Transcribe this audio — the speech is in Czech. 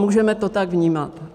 Můžeme to tak vnímat.